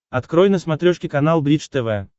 открой на смотрешке канал бридж тв